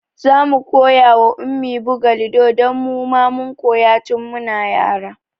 Zamu koya wa Ummi buga lido don muma mun koya tun muna yara